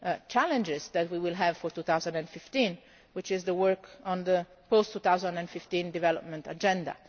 challenges that we will have for 2015, which is the work on the post 2015 Development Agenda.